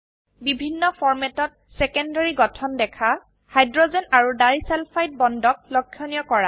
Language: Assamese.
বিভিন্ন ফৰম্যাটত সেকেন্ডাৰী গঠন দেখা হাইড্ৰোজেন আৰু ডাইসালফাইড বন্ডক লক্ষনীয় কৰা